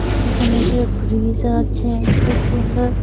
এখানে একটা ব্রিজ আছে খুব সুন্দর।